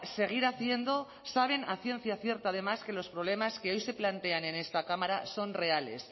seguir haciendo saben a ciencia cierta además que los problemas que hoy se plantean en esta cámara son reales